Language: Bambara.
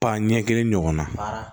Pa ɲɛ kelen ɲɔgɔnna